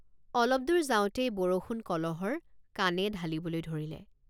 অলপ দূৰ যাওঁতেই বৰষুণ কলহৰ কাণে ঢালিবলৈ ধৰিলে।